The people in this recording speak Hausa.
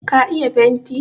ka iya fenti?